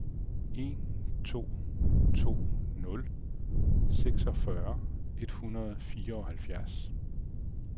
en to to nul seksogfyrre et hundrede og fireoghalvfjerds